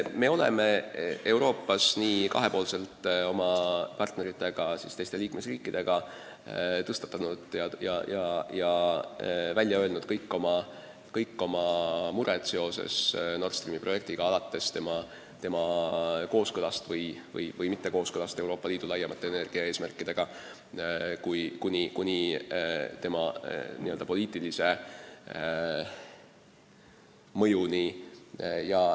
Me oleme Euroopas kahepoolselt koos oma partneritega, teiste liikmesriikidega tõstatanud ja välja öelnud kõik oma mured seoses Nord Streami projektiga – alates selle mittekooskõlast Euroopa Liidu laiemate energiaeesmärkidega kuni rajatise poliitilise mõjuni.